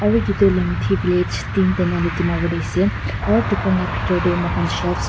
aru etu tu lhomithi village teen ali dimapur likhe se aru tar laga bethor te mur khan shall --